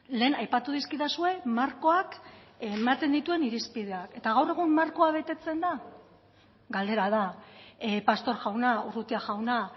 lehen aipatu dizkidazue markoak ematen dituen irispideak eta gaur egun markoa betetzen da galdera da pastor jauna urrutia jauna